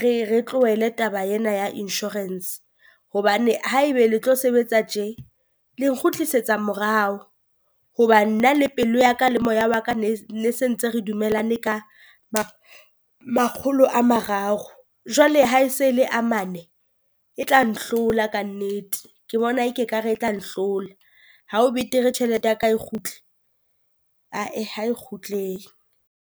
re re tlohele taba ena ya insurance hobane haeba le tlo sebetsa tjhe, le nkgutlisetsa morao. Hoba nna le pelo ya ka le moya wa ka ne ne sentse re dumelane ka makgolo a mararo. Jwale ha e se e le a mane e tla nhlola kannete, ke bona e ke ka re e tla nhlola, ha o betere tjhelete ya ka e kgutle? A-eh ha e kgutle